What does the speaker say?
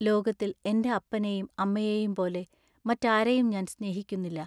ലോകത്തിൽ എന്റെ അപ്പനേയും അമ്മയേയും പോലെ മറ്റാരെയും ഞാൻ സ്നേഹിക്കുന്നില്ല.